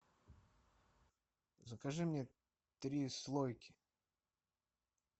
закажи мне три слойки